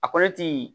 A kolo ti